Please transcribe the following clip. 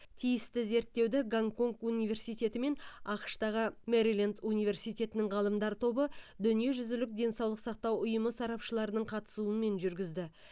тиісті зерттеуді гонконг университеті мен ақш тағы мэриленд университетінің ғалымдар тобы дүниежүзілік денсаулық сақтау ұйымы сарапшыларының қатысуымен жүргізді